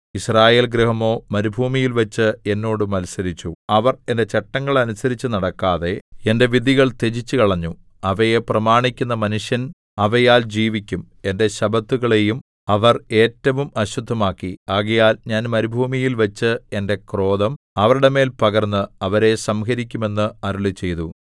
യിസ്രായേൽഗൃഹമോ മരുഭൂമിയിൽവച്ച് എന്നോട് മത്സരിച്ചു അവർ എന്റെ ചട്ടങ്ങൾ അനുസരിച്ചുനടക്കാതെ എന്റെ വിധികൾ ത്യജിച്ചുകളഞ്ഞു അവയെ പ്രമാണിക്കുന്ന മനുഷ്യൻ അവയാൽ ജീവിക്കും എന്റെ ശബ്ബത്തുകളെയും അവർ ഏറ്റവും അശുദ്ധമാക്കി ആകയാൽ ഞാൻ മരുഭൂമിയിൽവച്ച് എന്റെ ക്രോധം അവരുടെ മേൽ പകർന്ന് അവരെ സംഹരിക്കുമെന്ന് അരുളിച്ചെയ്തു